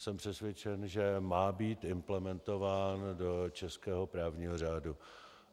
Jsem přesvědčen, že má být implementován do českého právního řádu.